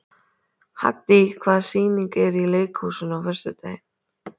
Haddý, hvaða sýningar eru í leikhúsinu á föstudaginn?